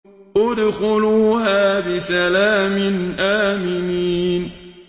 ادْخُلُوهَا بِسَلَامٍ آمِنِينَ